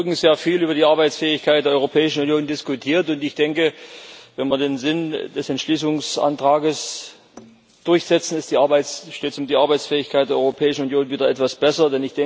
Wir haben heute Morgen sehr viel über die Arbeitsfähigkeit der Europäischen Union diskutiert, und ich denke, wenn wir den Sinn des Entschließungsantrags durchsetzen, steht es um die Arbeitsfähigkeit der Europäischen Union wieder etwas besser.